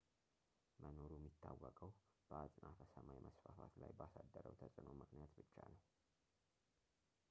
መኖሩ የሚታወቀው በአጽናፈ ሰማይ መስፋፋት ላይ ባሳደረው ተጽዕኖ ምክንያት ብቻ ነው